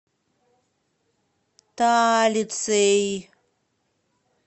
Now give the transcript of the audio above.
талицей